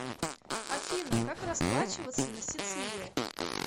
афина как расплачиваться на сицилии